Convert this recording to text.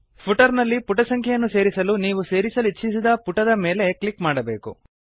footer ನಲ್ಲಿ ಪುಟ ಸಂಖ್ಯೆಯನ್ನು ಸೇರಿಸಲು ನೀವು ಸೇರಿಸಲಿಚ್ಛಿಸಿದ ಪುಟದ ಮೇಲೆ ಕ್ಲಿಕ್ ಮಾಡಬೇಕು